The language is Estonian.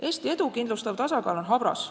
Eesti edu kindlustav tasakaal on habras.